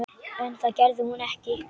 En það gerði hún ekki.